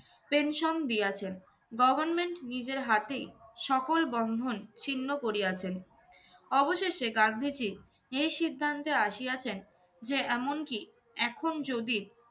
pension দিয়াছেন। government নিজের হাতেই সকল বন্ধন ছিন্ন করিয়াছেন। অবশেষে গান্ধীজী এই সিদ্ধান্তে আসিয়াছেন যে এমনকি এখন যদি